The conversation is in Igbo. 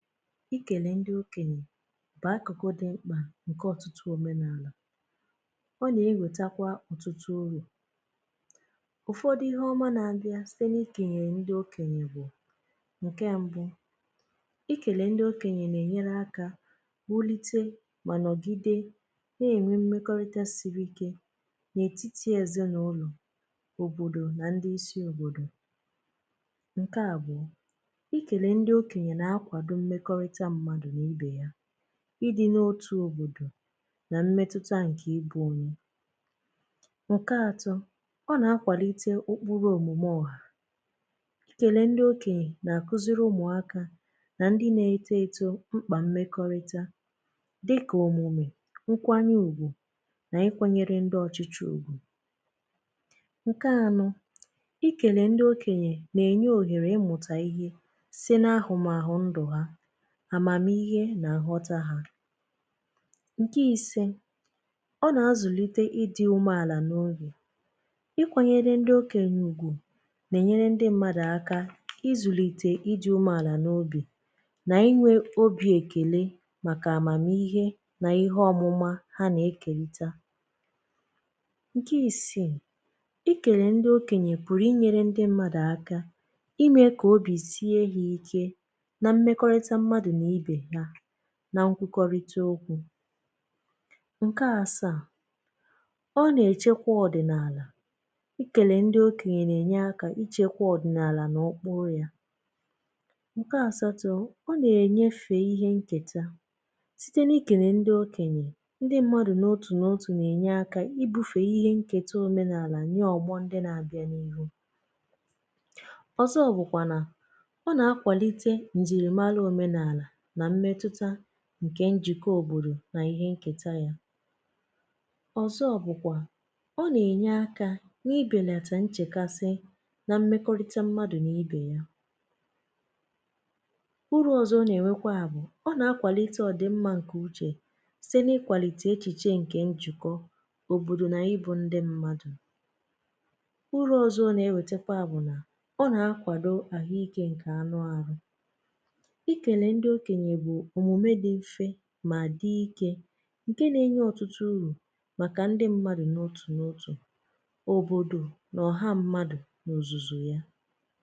Ikèlè ndị okènyè bụ̀ akụ̀kụ̀ dị̀ mkpà nkè ọ̀tụtụ̀ òmenàlà. Ọ nà-ewètakwa ọ̀tụtụ urù. ụ̀fọdụ̀ ihe ọmà na-abịà site n’ikèlè ndị okènyè bụ̀, nkè mbụ̀, ikèlè ndị okènyè nà-ènyere akȧ wùlitè mà nọ̀gidè na-ènwe mmekọrịtà siri ike n’ètitì ezì n’ụlọ̀, òbòdò na ndị isi òbòdò. Nkè àbụ̀ọ, ikele ndi okenye na-akwado mmekọrịtà mmadụ n'ibe ya, idị̀ n’otù òbodò na mmetụtà nkè ibụ̀ ụmụ. Nkè atọ̀, ọ na-akwàlitè ụkpụ̀rụ̀ omumè ọhà. Ikele ndị okenyè na-akuzirì ụmụ̀akà na ndị̀ na-etototò ṁkpà mmekọ̀rịtà dịkà omumè, nkwanye ùgwù na-ikwanyere ndị ọchịchị̀ ugwù. Nkè anọ̀, ikele ndị okenyè na-enye òhèrè ịmụ̀tà ihe site na ahụmahụ ndụ ha, àmàmihe nà nghọta ha. Nke isė, ọ nà-azụ̀lite ịdị̇ ume àlà n’obi. Ịkwȧnyere ndị okènyè ùgwù nà-ènyere ndị mmadụ̀ aka izùlìtè ịdị̇ umùàlà n’obi nà inwė obi èkèle màkà àmàmihe nà ihe ọmụma ha nà-ekelità. Nke isiì, i kèlè ndị okenyè p̣ụ̀rụ̀ inyėrė ndị mmadụ̀ aka imė kà obì sie ha ike na mmekọrịtà mmadụ n'ibe ya na nkwukọrịtà okwù. Nke asàa, ọ na-echekwa ọdịnaalà, Ikele ndị okenyè na-enye akà ichekwa ọdịnaalà n’okpuru yà. Nke asatọ̀, ọ na-enyefe ihe nketà sitė na-ikenè ndị okenyè ndị mmadụ̀ n’otù n’otù na-enye akà ibufe ihe nketà omenaalà nyè ọgbọ̀ ndị na-abịà n’ihu. Ọzọ̀ bụkwà nà o na akwalite njiri mara omenala na mmetụtà nke njikọ̀ òbodò na ihe nkètà yà. Ọzọ̀ bụkwà ọ na-enye akà n’ibelatà nchekasị̀ na mmekọrịtà mmadụ̀ na ibè yà. uru ọzọ na-enwekwà bụ̀ ọ na-akwalite ọdị̀ mmà nkè uchè site na-ikwalite echiche nke njikọ̀, òbodò na ịbụ̀ ndị mmadụ̀. Uru ọzọ̀ ọ na-ewetekwà bụ̀ nà ọ na-akwadò ahụike nke anụ̀ arụ̀. Ikele ndi okenye bụ omume ndi mfe mà dị̀ ike nkè na-enye ọtụtụ urù màkà ndị mmadụ̀ n’otù n’otù, òbodò na ọhà mmadụ̀ n’ozùzù yà.